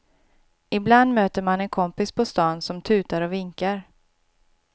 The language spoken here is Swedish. Ibland möter man en kompis på stan som tutar och vinkar.